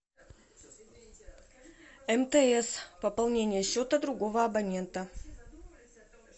мтс пополнение счета другого абонента